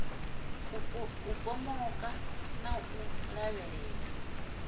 u pomoka na u lavhelela